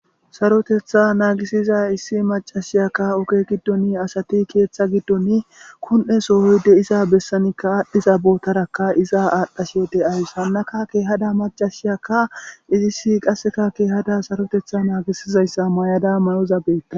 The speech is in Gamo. Sarotetha naagisiza issi macashiyakka oge giddon asati keeththa giddon kon'e sohoyde iza bessanikka aadhiza bootarakka iza aadhdhashe deays hannaka keehada macashiyakka izissi qasseka keehada sarotetha naagisizayssa mayada mayoza beetta